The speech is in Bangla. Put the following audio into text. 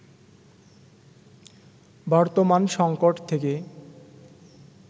বর্তমান সংকট থেকে